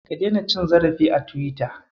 Ka daina cin zarafi a Tiwita.